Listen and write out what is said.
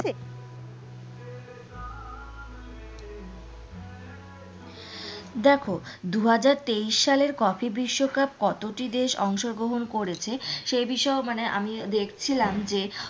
দেখো দুহাজার তেইশ সালে হকি বিশ্বকাপ কতটি দেশ অংশ গ্রহণ করেছে সেই বিষয়ে আমি দেখছিলাম যে,